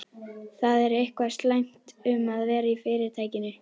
Það er eitthvað slæmt um að vera í Fyrirtækinu.